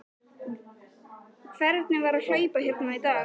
Viktoría Hermannsdóttir: Hvernig var að hlaupa hérna í dag?